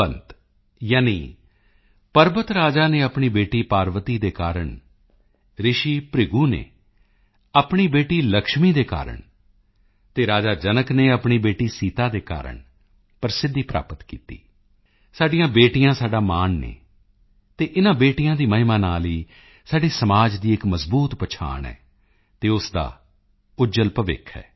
ਅਰਥਾਤ ਹਿਮਵੰਤ ਯਾਨੀ ਪਰਬਤ ਰਾਜਾ ਨੇ ਆਪਣੀ ਬੇਟੀ ਪਾਰਵਤੀ ਦੇ ਕਾਰਨ ਰਿਸ਼ੀ ਭ੍ਰਿਗੂ ਨੇ ਆਪਣੀ ਬੇਟੀ ਲਕਸ਼ਮੀ ਦੇ ਕਾਰਨ ਅਤੇ ਰਾਜਾ ਜਨਕ ਨੇ ਆਪਣੀ ਬੇਟੀ ਸੀਤਾ ਦੇ ਕਾਰਨ ਪ੍ਰਸਿੱਧੀ ਪ੍ਰਾਪਤ ਕੀਤੀ ਸਾਡੀਆਂ ਬੇਟੀਆਂ ਸਾਡਾ ਮਾਣ ਹਨ ਅਤੇ ਇਨ੍ਹਾਂ ਬੇਟੀਆਂ ਦੀ ਮਹਿਮਾ ਨਾਲ ਹੀ ਸਾਡੇ ਸਮਾਜ ਦੀ ਇੱਕ ਮਜ਼ਬੂਤ ਪਹਿਚਾਣ ਹੈ ਅਤੇ ਉਸ ਦਾ ਉੱਜਲ ਭਵਿੱਖ ਹੈ